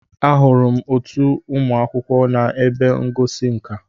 Ahụrụ m otu ụmụ akwụkwọ na ebe ngosi nka.